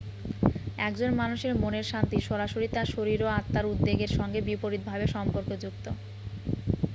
একজন মানুষের মনের শান্তি সরাসরি তার শরীর ও আত্মার উদ্বেগের সঙ্গে বিপরীত ভাবে সম্পর্কযুক্ত